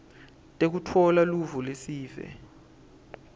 tekutfola luvo lwesive